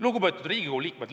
Lugupeetud Riigikogu liikmed!